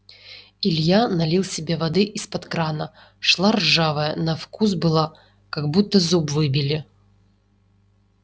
илья налил себе воды из-под крана шла ржавая на вкус была как будто зуб выбили